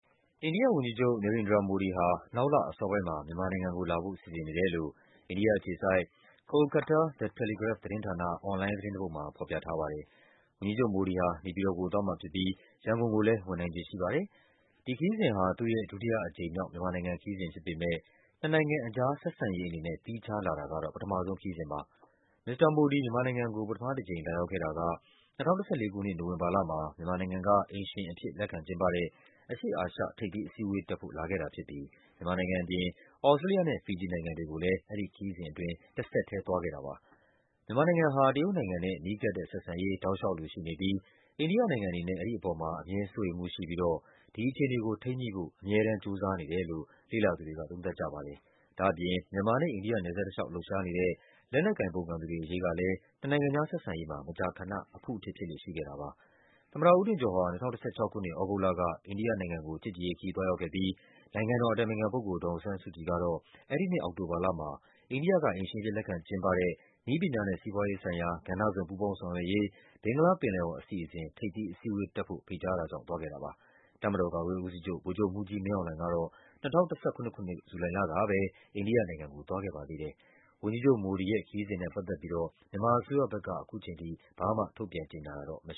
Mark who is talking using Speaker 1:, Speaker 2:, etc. Speaker 1: အိန္ဒိယဝန်ကြီးချုပ် နေရိန်ဒရာ မိုဒီဟာ နောက်လ အစောပိုင်းမှာ မြန်မာနိုင်ငံကို လာဖို့ စီစဉ်နေတယ်လို့ အိန္ဒိယအခြေစိုက် The Telegraph သတင်းဌာန အွန်လိုင်းသတင်းတပုဒ်မှာ ဖော်ပြထားပါတယ်။ ဝန်ကြီးချုပ်မိုဒီဟာ နေပြည်တော်ကို သွားမှာဖြစ်ပြီး ရန်ကုန်ကိုလည်း ဝင်နိုင်ခြေရှိပါတယ်။ ဒီခရီးစဉ်ဟာ သူ့ရဲ့ ဒုတိယ အကြိမ်မြောက် မြန်မာခရီးစဉ် ဖြစ်ပေမယ့် နှစ်နိုင်ငံကြား ဆက်ဆံရေး အနေနဲ့ သီးခြား လာတာကတော့ ပထမဆုံးခရီးစဉ်ပါ။ မစ္စတာ မိုဒီ မြန်မာနိုင်ငံကို ပထမတကြိမ် လာရောက်ခဲ့တာက ၂၀၁၄ ခုနှစ် နိုဝင်ဘာလမှာ မြန်မာနိုင်ငံက အိမ်ရှင်အဖြစ် လက်ခံကျင်းပတဲ့ အရှေ့အာရှ ထိပ်သီးအစည်းအဝေး တက်ဖို့ လာခဲ့တာဖြစ်ပြီး မြန်မာနိုင်ငံ အပြင် သြစတြေးလျနဲ့ ဖီဂျီနိုင်ငံတွေကိုလည်း သွားခဲ့ပါတယ်။ မြန်မာနိုင်ငံဟာ တရုတ်နိုင်ငံနဲ့ နီးကပ်တဲ့ဆက်ဆံရေး ရှိနေပြီး အိန္ဒိယနိုင်ငံ အနေနဲ့ အဲဒီအပေါ်မှာ စိုးရိမ်မှု ရှိပြီးတော့ ဒီအခြေအနေ ကို ထိန်းညှိဖို့ အမြဲတမ်း ကြိုးစားနေတယ်လို့ လေ့လာသူတွေက သုံးသပ်ကြပါတယ်။ ဒါ့အပြင် မြန်မာနဲ့ အိန္ဒိယ နယ်စပ်တလျှောက် လှုပ်ရှားနေတဲ့ လက်နက်ကိုင် ပုန်ကန်သူတွေ အရေးကလည်း နှစ်နိုင်ငံကြား ဆက်ဆံရေးမှာ မကြာခဏ အဖုအထစ် ဖြစ်လေ့ရှိခဲ့တာပါ။ သမ္မတ ဦးထင်ကျော်ဟာ ၂၀၁၆ ခုနှစ် သြဂုတ်လက အိန္ဒိယနိုင်ငံကို ချစ်ကြည်ရေးခရီး သွားရောက်ခဲ့ပြီး နိုင်ငံတော် အတိုင်ပင်ခံ ပုဂ္ဂိုလ် ဒေါ်အောင်ဆန်းစုကြည်ကတော့ အဲဒီနှစ် အောက်တိုဘာလမှာ အိန္ဒိယက အိမ်ရှင်အဖြစ် လက်ခံကျင်းပတဲ့ နည်းပညာနဲ့ စီးပွားရေးဆိုင်ရာ ကဏ္ဍစုံ ပူးပေါင်းဆောင်ရွက်ရေး ဘင်္ဂလားပင်လယ်အော် အစီအစဉ် ထိပ်သီးအစည်းအဝေး တက်ဖို့ ဖိတ်ကြား တာကြောင့် သွားခဲ့တာပါ။ တပ်မတော် ကာကွယ်ရေးဦးစီးချုပ် ဗိုလ်ချုပ်မှူးကြီး မင်းအောင်လှိုင်ကတော့ ၂၀၁၇ ခုနှစ်၊ ဇူလိုင်လကပဲ အိန္ဒိယနိုင်ငံကို သွားခဲ့ပါသေးတယ်။ ဝန်ကြီးချုပ် မိုဒီရဲ့ ခရီးစဉ်နဲ့ ပတ်သက်ပြီး မြန်မာအစိုးရ ဘက်ကတော့ ဘာမှ ထုတ်ပြန်ကြေညာ တာမရှိ